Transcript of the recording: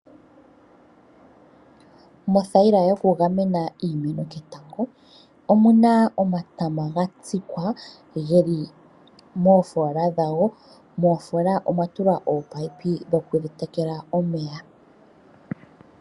Mothayila yokugamena iimeno ketango omu na omatama ga tsikwa ge li moofola dhago moofola omwa tulwa ominino dhokudhi tekela omeya.